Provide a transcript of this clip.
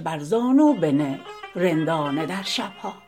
بر زانو بنه رندانه در شب ها